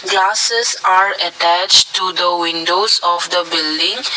glasses are attached to the windows of the building.